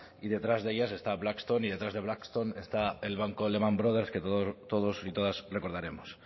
y detrás de ellas está braxton y detrás de braxton está el banco de lehman brothers que todos y todas recordaremos